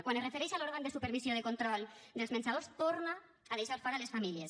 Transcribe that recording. quan es refereix a l’òrgan de supervisió de control dels menjadors torna a deixar fora les famílies